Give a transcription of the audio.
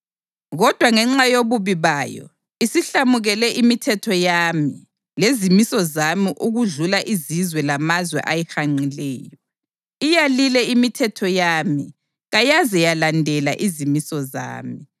Kodwa ngenxa yobubi bayo isihlamukele imithetho yami lezimiso zami okudlula izizwe lamazwe ayihanqileyo. Iyalile imithetho yami kayaze yalandela izimiso zami.